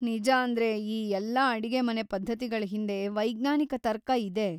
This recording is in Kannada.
ನಿಜಾಂದ್ರೆ ಈ ಎಲ್ಲ ಅಡಿಗೆಮನೆ ಪದ್ಧತಿಗಳ್‌ ಹಿಂದೆ ವೈಜ್ಞಾನಿಕ ತರ್ಕ ಇದೆ.